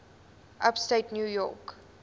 upstate new york